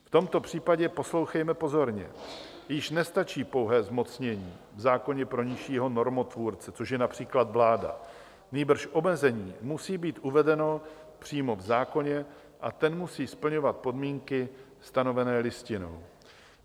V tomto případě - poslouchejme pozorně - již nestačí pouhé zmocnění v zákoně pro nižšího normotvůrce, což je například vláda, nýbrž omezení musí být uvedeno přímo v zákoně a ten musí splňovat podmínky stanovené Listinou.